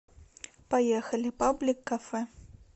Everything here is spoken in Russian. поехали паблик кафе